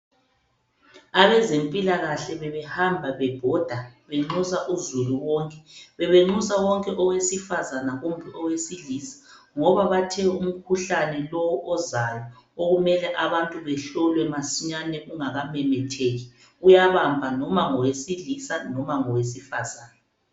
Abezempilakahle bebehamba bebhoda benxusa uZulu wonke. Bebenxusa wonke owesifazana kumbe owesilisa ngoba bathe umkhuhlane lo ozayo okumele abantu behlolwe masinyane ungakamemetheki, uyabamba loba ngowesilisa noma ngowesifazana.